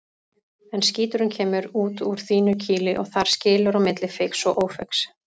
En skíturinn kemur út úr þínu kýli og þar skilur á milli feigs og ófeigs.